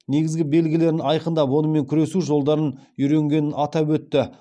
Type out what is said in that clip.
негізгі белгілерін айқындап онымен күресу жолдарын үйренгенін атап өтті